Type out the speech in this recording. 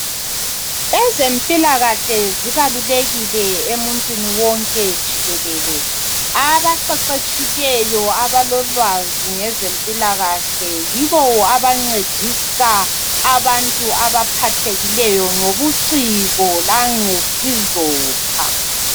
Ezempilakahle zibalulekile emuntwini wonke jikelele abaqeqetshileyo abalolwazi ngezempilakahle yino abancedisa abantu abaphathekileyo ngobuciko langesizotha